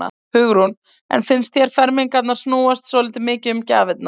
Hugrún: En finnst þér fermingarnar núna snúast svolítið mikið um gjafirnar?